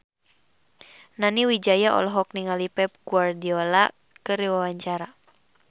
Nani Wijaya olohok ningali Pep Guardiola keur diwawancara